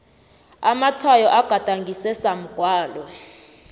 amatshwayo agadangiswe samgwalo